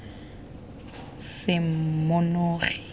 semonogi